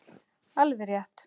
Alveg rétt.